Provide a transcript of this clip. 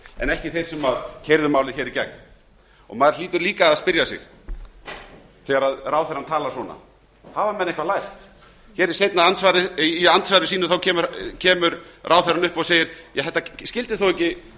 en ekki þeir sem keyrðu málið í gegn maður hlýtur líka að spyrja sig þegar ráðherrann talar á þennan veg hafa menn eitthvað lært í andsvari sínu kemur ráðherrann upp og segir ja þetta skyldi þó ekki